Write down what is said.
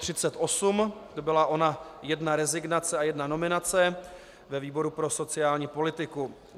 To byla ona jedna rezignace a jedna nominace ve výboru pro sociální politiku.